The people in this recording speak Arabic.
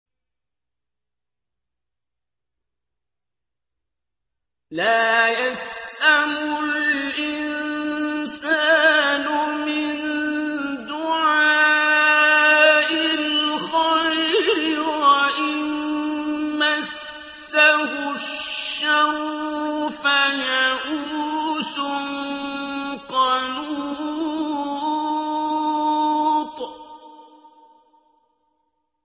لَّا يَسْأَمُ الْإِنسَانُ مِن دُعَاءِ الْخَيْرِ وَإِن مَّسَّهُ الشَّرُّ فَيَئُوسٌ قَنُوطٌ